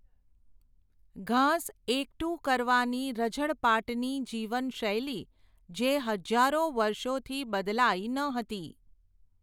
ઘાસ એકઠું કરવાની રઝળપાટની જીવનશૈલી જે હજારો વર્ષોથી બદલાઇ ન હતી.